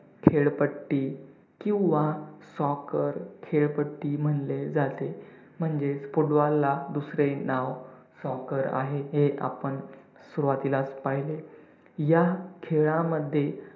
खेळपट्टि किंवा soccer खेळपट्टि म्हणले जाते, म्हणजेच football ला दुसरे नाव soccer आहे हे आपण सुरुवातीलाच पाहिले. या खेळामध्ये